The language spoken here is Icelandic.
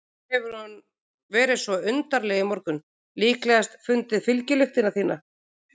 Svo hefur hún verið svo undarleg í morgun, líklegast fundið fylgjulyktina þína.